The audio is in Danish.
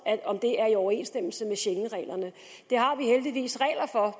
er i overensstemmelse med schengenreglerne